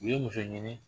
U ye muso ɲini